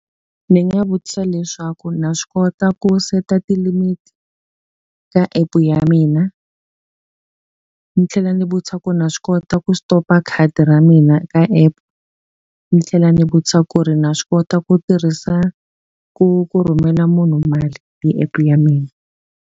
Ndzi nga vutisa leswaku na swi kota ku set-a ti-limit ka app ya mina? Ni tlhela ni vutisa ku ri na swi kota ku stop-a khadi ra mina ka app? Ni tlhela ni vutisa ku ri na swi kota ku tirhisa ku ku rhumela munhu mali hi app ya mina?